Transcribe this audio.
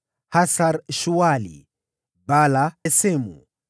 Hasar-Shuali, Bala, Esemu,